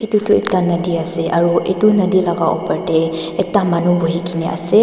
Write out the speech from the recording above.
edu tu ekta nodi ase aru edu nodi laka opor tae ekta manu buhikaena ase.